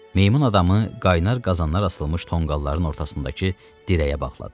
Meymun adamı qaynar qazanlar asılmış tonqalların ortasındakı dirəyə bağladılar.